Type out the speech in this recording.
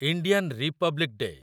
Indian republic day